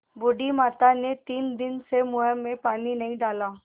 बूढ़ी माता ने तीन दिन से मुँह में पानी नहीं डाला